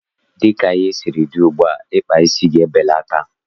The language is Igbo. Dịka ihe siri kwụrụ ugbua, ịkpa isi ga-ebelata.